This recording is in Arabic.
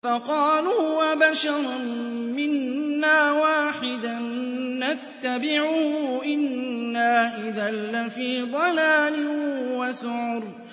فَقَالُوا أَبَشَرًا مِّنَّا وَاحِدًا نَّتَّبِعُهُ إِنَّا إِذًا لَّفِي ضَلَالٍ وَسُعُرٍ